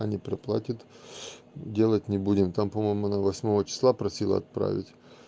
они переплатят делать не будем там по-моему нам восьмого числа просила отправить